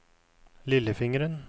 lillefingeren